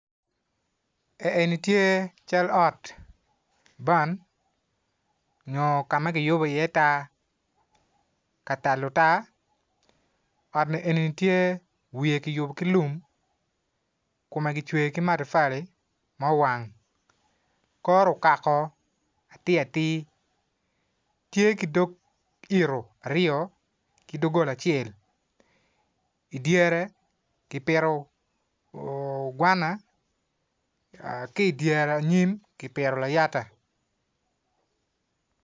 Eni tye cal ot ban onyo kama kiyubo i iye taa katalo taa ot ni eni ni tye wiye kiyubo ki lum kome kicweyo ki matafali muwang kore okako atir atir tye ki dog ito aryo ki dogola acel idyere ki pito gwana ki dyere anyim kipito layata